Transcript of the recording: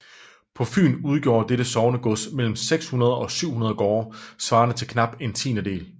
På Fyn udgjorde dette sognegods mellem 600 og 700 gårde svarende til knap en tiendedel